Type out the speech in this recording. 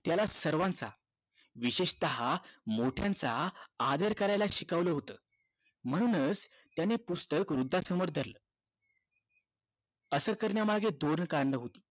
त्याला सर्वांचा विशेषतः मोठयांचा आदर करायला शिकवलं होत म्हणूनच त्याने पुस्तक वृद्धांसमोर धरलं असं करण्यामागे दोन कारण होती